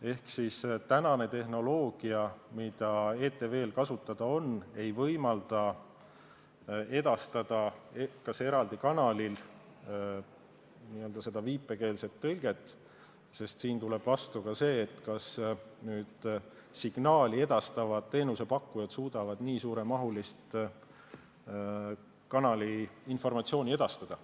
Ehk tehnoloogia, mis ETV-l kasutada on, ei võimalda edastada eraldi kanalil seda viipekeeletõlget, sest siin tuleb vastu ka see, kas signaali edastavad teenusepakkujad suudavad nii suuremahulist informatsiooni edastada.